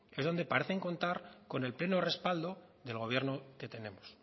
es donde parecen contar con el pleno respaldo del gobierno que tenemos